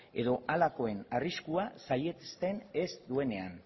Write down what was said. edo halakoen arriskua saihesten ez duenean